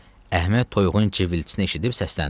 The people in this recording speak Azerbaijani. Əhməd toyuğun cıvıltısını eşidib səsləndi.